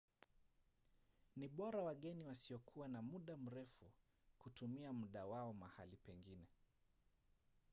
ni bora wageni wasiokuwa na muda mrefu kutumia muda wao mahali pengine